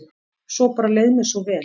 Svo bara leið mér svo vel.